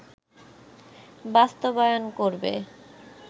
বাস্তবায়ন করবে